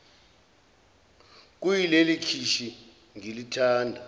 kuyileli khishi ngilithanda